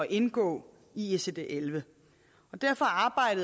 indgå i icd elleve og derfor